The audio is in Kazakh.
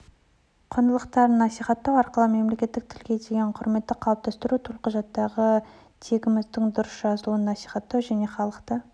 құндылықтарын насихаттау арқылы мемлекеттік тілге деген құрметті қалыптастыру төлқұжаттағы тегіміздің дұрыс жазылуын насихаттау және халықты